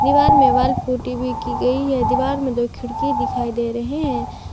दीवार में wall putty भी की गई है दीवार में दो खिड़की दिखाई दे रहे हैं।